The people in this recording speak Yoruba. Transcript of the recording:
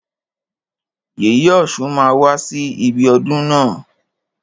Yèyè ọ̀ṣun máa wá sí ibi ọdún na.